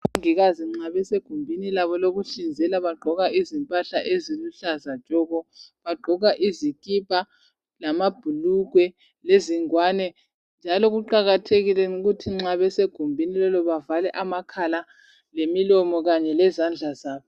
omongikazi nxa besegumbinilabo lokuhlinzela bayabe begqoke impahla eziluhlaza tshoko bagqoka izikipa izingwane lamabhulugwe njalo kuqakathekile ukuthi nxabese gumbini lelo bavale amakhala lemilomo kanye lezandla zabo